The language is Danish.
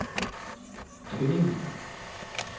Tønding